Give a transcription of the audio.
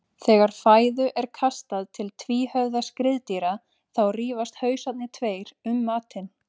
Þegar fæðu er kastað til tvíhöfða skriðdýra þá rífast hausarnir tveir um matinn.